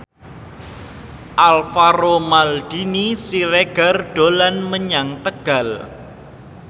Alvaro Maldini Siregar dolan menyang Tegal